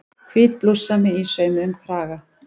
Hvít blússan með ísaumuðum kraga.